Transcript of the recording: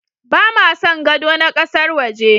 Ba ma son gado na ƙasar waje.